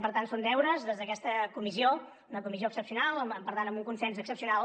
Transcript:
per tant són deures des d’aquesta comissió una comissió excepcional i per tant amb un consens excepcional